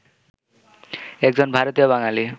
একজন ভারতীয় বাঙালি